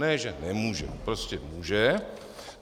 Ne že nemůže, prostě může.